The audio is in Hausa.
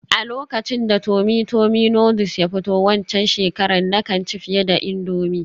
A lokacin da tummy tummy noodles ya fito waccan shekarar, na kan ci fiye da indomie